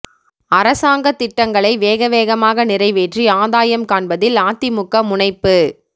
அரசாங்கத் திட்டங்களை வேக வேகமாக நிறைவேற்றி ஆதாயம் காண்பதில் அதிமுக முனைப்பு